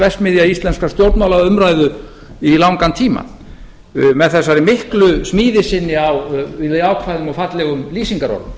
verksmiðja íslenskrar stjórnmálaumræðu í langan tíma með þessari miklu smíði sinni á jákvæðum og fallegum lýsingarorðum